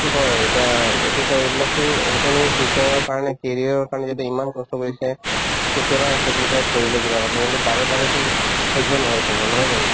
হয় এতিয়া এইটো চাই এইবিলাকতো ইহঁতে future ৰ কাৰণে career ৰ কাৰণে যদি ইমান কষ্ট কৰিছে কেতিয়াবা sacrifice কৰিলে কিবা কথাত কিন্তু বাৰে বাৰেতো সহ্য নহয় চবৰ নহয় জানো